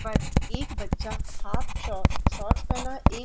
but एक बच्चा half sock shorts पहना है एक --